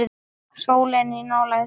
Sólin í nálægð.